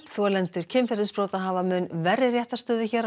þolendur kynferðisbrota hafa mun verri réttarstöðu hér á